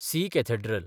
C cathedral